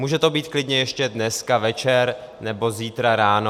Může to být klidně ještě dneska večer nebo zítra ráno.